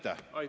Aitäh!